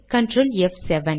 control ப்7